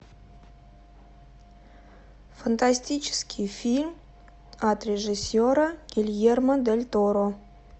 фантастический фильм от режиссера гильермо дель торо